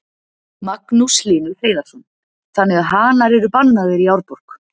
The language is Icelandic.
Magnús Hlynur Hreiðarsson: Þannig að hanar eru bannaðir í Árborg?